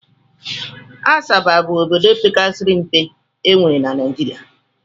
Asaba bụ obodo pekasịrị mpe n'obodo e nwere na Naijiria